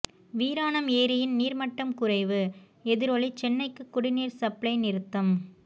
வீராணம் ஏரியின் நீர்மட்டம் குறைவு எதிரொலி சென்னைக்கு குடிநீர் சப்ளை நிறுத்தம்